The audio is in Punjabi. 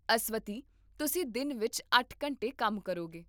ਅਸਵਥੀ, ਤੁਸੀਂ ਦਿਨ ਵਿੱਚ ਅੱਠ ਘੰਟੇ ਕੰਮ ਕਰੋਗੇ